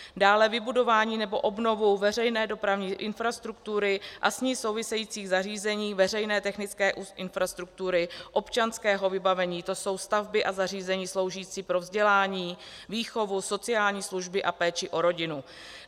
dále vybudování nebo obnovu veřejné dopravní infrastruktury a s ní souvisejících zařízení veřejné technické infrastruktury, občanského vybavení, to jsou stavby a zařízení sloužící pro vzdělání, výchovu, sociální služby a péči o rodinu;